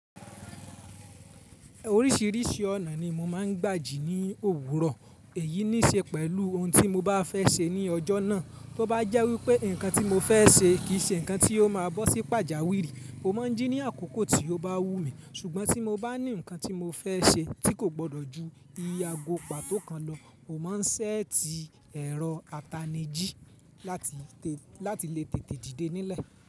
Oríṣìíríṣìí ọ̀nà ni mo máa ń gbà jí ní òwúrọ̀. Èyí ní ṣe pẹ̀lú ohun tí mo bá fẹ́ ṣe ní ọjọ́ náà. Bí ó bá jẹ́ wípé ǹkan tí mo fẹ́ ṣe kì í ṣe ǹkan tí ó máa bọ́ sí pàjáwìrì, mo má ń jí ní àkókò tí ó bá wù mí. Ṣùgbọ́n tí mo bá ní ǹkan tí mo fẹ́ ṣe tí kò gbọdọ̀ ju ìye àgó pàtó kan lọ, mo má ń ṣẹ́ẹ̀tì ẹ̀rọ ataniì jí láti lè tètè dìde nílẹ̀.